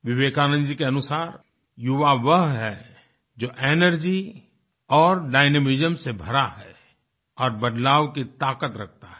विवेकानंद जी के अनुसार युवा वह है जो एनर्जी और डायनामिज्म से भरा है और बदलाव की ताकत रखता है